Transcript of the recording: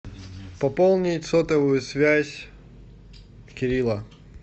пополнить сотовую связь кирилла